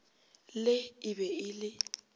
le e be e le